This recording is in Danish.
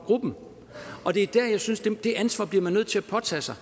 gruppen det ansvar bliver man nødt til at påtage sig